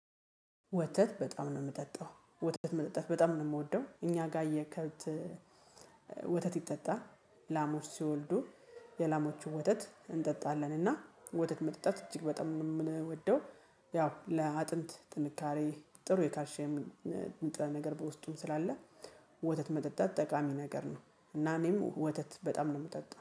ወተት በጣም ነው የምጠጣው። ወተት መጠጣት በጣም ነው የምወደው። እኛ ጋር የከብት ወተት ይጠጣል። ላሞች ሲወልዱ የላሞቹን ወተት እንጠጣለን እና ወተት መጠጣት እጅግ በጣም የምንወደው። ያው ለአጥንት ጥንካሬ ጥሩ የካልሽየም ንጥረ ነገር በውስጡም ስላለ ወተት መጠጣት ጠቃሚ ነገር ነው። እና እኔም ወተት በጣም ነው የምጠጣው።